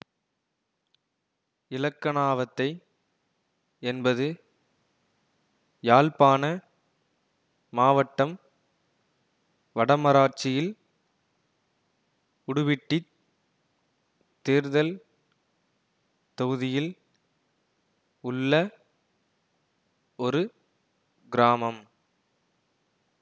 இலக்கணாவத்தை என்பது யாழ்ப்பாண மாவட்டம் வடமராட்சியில் உடுப்பிட்டித் தேர்தல் தொகுதியில் உள்ள ஒரு கிராமம்